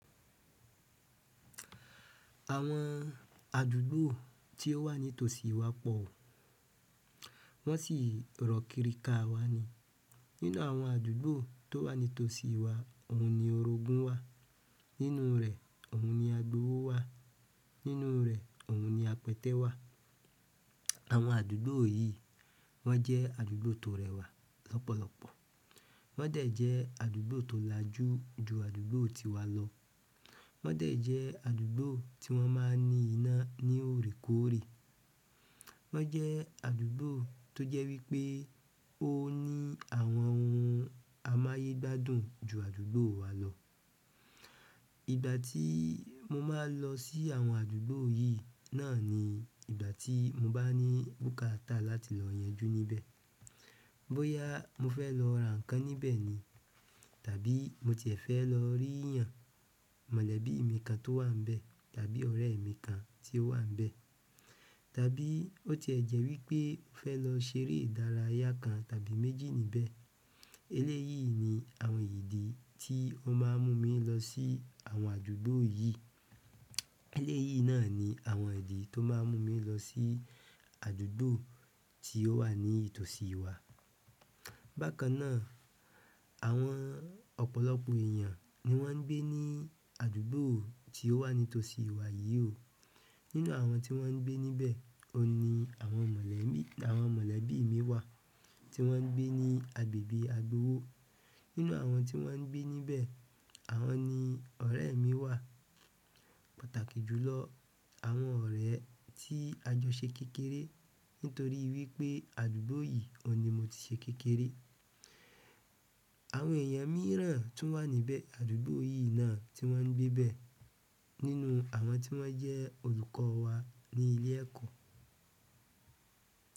Àwọn àdúgbò tí ó wà ní tòsí wa pọ̀, wọn sì rọ̀kìríka wà ni. Nínú àwọn àdúgbò tó wà ní tòsí wà òun ni òrògun wà, nínú rẹ̀ òùn ni àgbòwó wà, nínú rẹ̀ òun ni àpẹtẹ wà. Àwọn àdúgbò yìí wọ́n jẹ́ àdúgbò tó rẹwà lọ́pọ̀lọ́pọ̀. Wọ́n dẹ̀ jẹ́ àdúgbò tó làjú jù àdúgbò tiwà lọ. Wọ́n dẹ̀ jẹ́ àdúgbò tí wọ́n máa ní iná ní òrèkóòrè. Wọ́n jẹ́ àdúgbò tó jẹ́ wípé ó ní àwọn òhùn àmáyé gbádùn jù àdúgbò wà lọ. Ìgbà tìì mò màà ń lọ sì àwọn àdùgbò yìì nàà nì ìgbà tì mòbà nì bùkààtà làtì lọ yànjù nìbẹ bóyá mo fẹ́ lọ ra nǹkan níbẹ̀ ni, tàbí mò tìẹ̀ fẹ́ lọ rí èèyàn mọ̀lẹ́bí mi kàn tó wà ń bẹ̀, tàbí ọ̀rẹ́ mi kan tí ó wà níbẹ̀, tàbí ó ti ẹ̀ jẹ́ wípé ó fẹ́ lọ ṣeré ìdárayá kan tàbí méjì níbẹ̀. Eléyìí ni àwọn ìdí tí ó máa ń mú mi lọ sí àwọn àdúgbò yìí. Eléyìí náà ni àwọn ìdí tó máa ń mú mi lọ sí àdúgbò tí ó wà ní tòsí wa. Bákàn náà, àwọn ọ̀pọ̀lọpọ̀ èèyàn ni wọ́n ń gbé ní àdúgbò tí ó wà ní tòsí wà yìí o. Nínú àwọn tí wọ́n ń gbé níbẹ̀, ó ní àwọn mọ̀lẹ́bí, àwọn mọ̀lẹ́bí mi wà tí wọ́n ń gbé ní àgbègbè àgbòwó. Nínú àwọn tí wọ́n ń gbé níbẹ̀, àwọn ni ọ̀rẹ́ mi wà, pàtàkì jù lọ, àwọn ọ̀rẹ́ tí àjọ ṣe kékeré nítorí wípé àdúgbò yìí òní mò ti ṣe kékeré. Àwọn èèyàn mììràn tùn wà nìbẹ àdùùgbò yìì nàà tì wọn gbè ìbẹ nínú àwọn tí wọ́n jẹ́ olùkọ́ wa ní ilé ẹ̀kọ́.